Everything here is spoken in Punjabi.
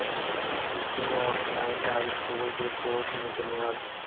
teaching online high school ਦੇ ਕੋਰਸ ਦੀ ਬੁਨਿਆਦ